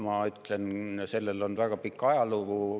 Ma ütlen, et sellel on väga pikk ajalugu.